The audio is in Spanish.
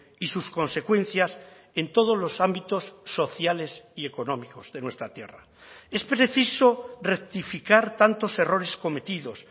y sus consecuencias en todos los ámbitos sociales y económicos de nuestra tierra es preciso rectificar tantos errores cometidos